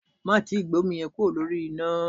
Má tíì gbé omi yẹn kúrò lórí iná.